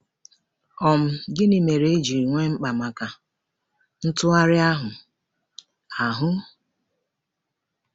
um Gịnị mere e ji nwee mkpa maka ntụgharị ahụ? ahụ?